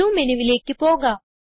view മെനുവിലേക്ക് പോകാം